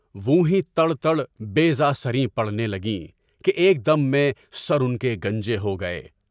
وُں ہی تڑ تڑ بے زہ سری پڑھنے لگیں کہ ایک دم میں سر ان کے گھوم گئے۔